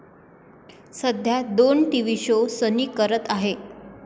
सध्या दोन TV show सनी करत आहे.